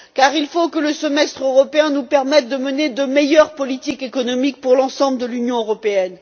Il faut que le semestre européen nous permette de mener de meilleures politiques économiques pour l'ensemble de l'Union européenne.